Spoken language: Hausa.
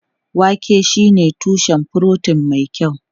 Wake shine tushen furotin mai kyau.